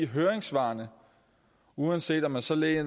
høringssvarene uanset om man så læser